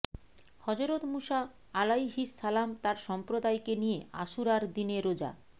হজরত মুসা আলাইহিস সালাম তার সম্প্রদায়কে নিয়ে আশুরার দিনে রোজা